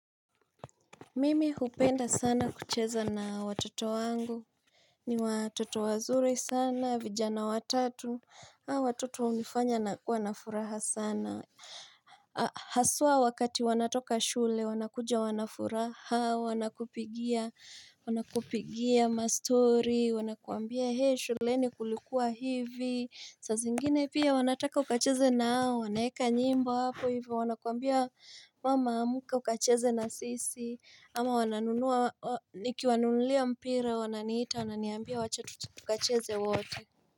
Mimi upenda sana kucheza na watoto wangu. Ni watoto wazuri sana, vijana watatu Watoto unifanya nakua na furaha sana Haswa wakati wanatoka shule wanakuja wanafuraha, wanakupigia wanakupigia mastory, wanakuambia he shuleni kulikuwa hivi, saa zingine pia wanataka ukacheze nao, wanaeka nyimbo hapo hivyo, wanakuambia mama amuka ukacheze na sisi ama wananunua nikiwanunulia mpira wananiita wananiambia wacha tukacheze wote.